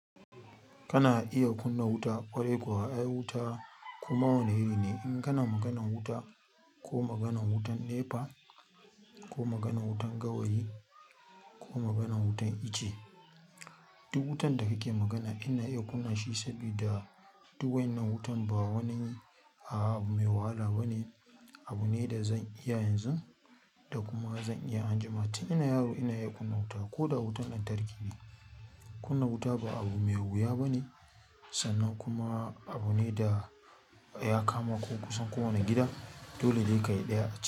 Kana iya kunna wuta, ƙwarai kuwa ai wuta koma wane irine? In kana maganan wuta ko maganan wutan NEPA ko maganan wutan gawayi ko maganan wutan ice, duk wutan da kake magana ina iya kunna shi sabida duk waʼyinnan wutan ba wani a abu mai wahala bane. Abune dazan iya yanzu dakuma zan iya anjima tun ina yaro na iya kunna wuta ko da wutan lantarki ne. Kunna wuta ba abu mai wuya bane sannan kuma abu ne da ya kama ko kusan kowane gida. Dole ne ka yarda a ciki.